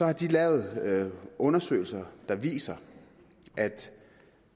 har de lavet undersøgelser der viser at